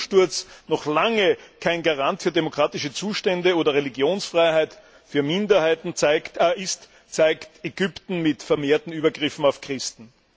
Und dass ein Umsturz noch lange kein Garant für demokratische Zustände oder Religionsfreiheit für Minderheiten ist, zeigt Ägypten mit vermehrten Übergriffen auf Christen.